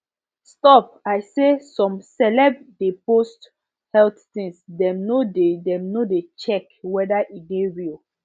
stop i say some celeb de post health things dem no de dem no de check weda e de real